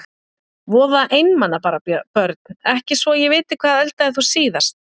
Voða einmana bara Börn: Ekki svo ég viti Hvað eldaðir þú síðast?